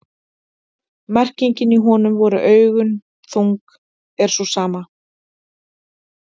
merkingin í „honum voru augu þung“ er sú sama